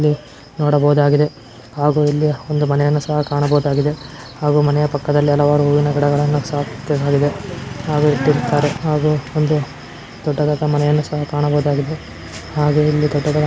ನೋಡಬಹುದಾಗಿದೆ ಹಾಗು ಇಲ್ಲಿ ಒಂದು ಮನೆಯನ್ನು ಸಹ ಕಾಣಬಹುದಾಗಿದೆ ಹಾಗು ಮನೆಯ ಪಕ್ಕದಲ್ಲಿ ಹಲವಾರು ಹೂವಿನ ಗಿಡಗಳನ್ನು ಸಹ ಹಾಗು ಒಂದು ದೊಡ್ಡದಾದ ಮನೆಯನ್ನು ಸಹ ಕಾಣಬಹುದಾಗಿದೆ ಹಾಗು ಇಲ್ಲಿ ದೊಡ್ಡದಾದ--